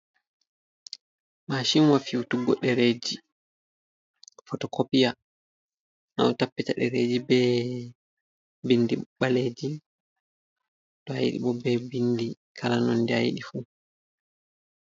Mashin wa fiutuggo dereji fotokopia, nga ɗo tappita dereji be bindi ɓaleji to a yiɗi bo be bindi kala nonde a yiɗi fu.